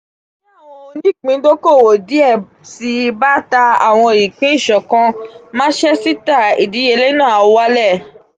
ti awọn onipindokowo diẹ sii ba ta awọn ipin iṣọ̀kan maṣẹ́sítà idiyele naa a walẹ.